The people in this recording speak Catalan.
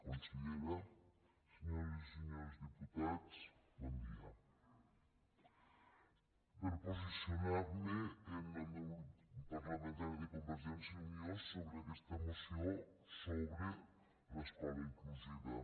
consellera senyors i senyors diputats bon dia per posicionarme en nom del grup parlamentari de convergència i unió sobre aquesta moció sobre l’escola inclusiva